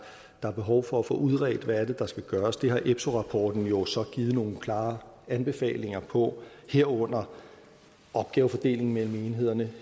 der er behov for at få udredt hvad der skal gøres det har epso rapporten jo så givet nogle klare anbefalinger på herunder opgavefordelingen mellem enhederne